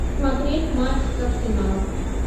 смотреть матч с арсенал